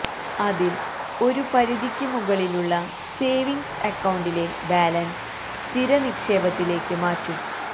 അതിൽ ഒരു പരിധിക്ക് മുകളിലുള്ള സേവിങ്സ് അക്കൌണ്ടിലെ ബാലൻസ് സ്ഥിര നിക്ഷേപത്തിലേക്ക് മാറ്റും